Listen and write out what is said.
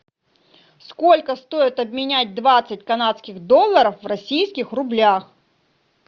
сколько стоит обменять двадцать канадских долларов в российских рублях